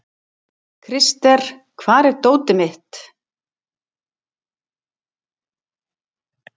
Krister, hvar er dótið mitt?